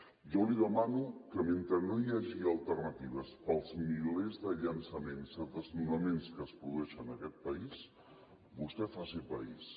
jo li demano que mentre no hi hagi alternatives per als milers de llançaments de desnonaments que es produeixen en aquest país vostè faci país